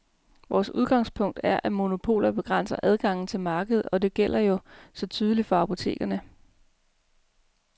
Vores udgangspunkt er, at monopoler begrænser adgangen til markedet, og det gælder jo så tydeligt for apotekerne.